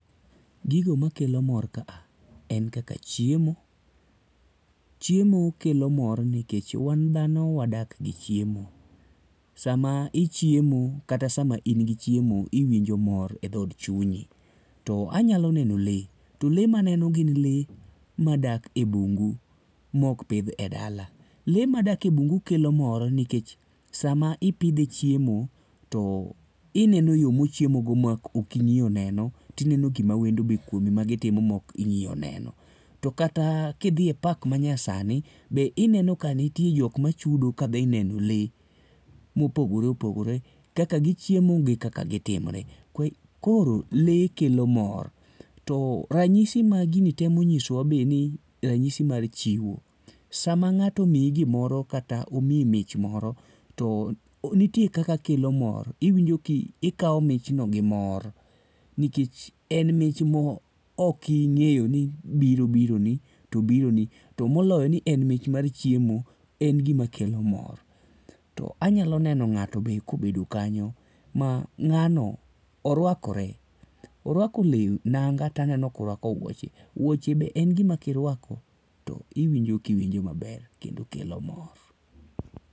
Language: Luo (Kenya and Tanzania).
Gigo makelo mor kaa en kaka chiemo, chiemo kelo mor nikech wan dhano wadak gi chiemo. Sama ichiemo kata sama in gi chiemo iwinjo mor e dhood chunyi. Anyalo neno lee to lee maneno gin lee madak e bungu maok pidh e dala. Lee madak ebungu kelo mor nikech sama ipidhe chiemo to ineno yo mochiemogo ma ok ing'iyo neno to ineno gima wendo be kuome ma gitimo ma ok ing'iyo neno. To kata ka idhi e park manyien sani, be ineno kanitie jok machung' ka dhi neno lee mopogore opogore kaka gichiemo gi kaka gitimore. Koro lee kelo mor toranyisi ma gini temo nyiso be ni ranyisi mar chiwo. Sama ng'ato omiyi gimoro kata omiyi mich moro, to nitie kaka kelo moro, iwinjo kai ikawo michno gi mor nikech en mich ma ok ing'eyo ni biro biro ni to mobroni to moloyo ni en mich mar chiemo, en gima kelo mor. To anyalo neno ng'ato be ka obedo kanyo. Ng'ano oruakore , oruako lew nanga to aneno koruako wuoche. Wuoche be en gima kiruako to iwinjo ka iwinjo maber kendo kelo mor.